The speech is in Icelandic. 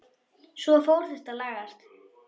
Svo fór þetta að lagast.